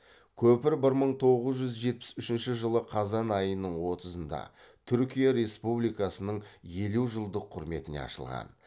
көпір бір мың тоғыз жүз жетпіс үшінші жылы қазан айының отызында түркия республикасының елу жылдық құрметіне ашылған